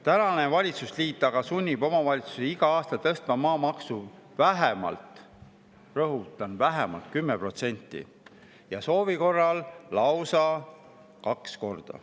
Praegune valitsusliit aga sunnib omavalitsusi igal aastal tõstma maamaksu vähemalt – rõhutan: vähemalt – 10% ja soovi korral lausa kaks korda.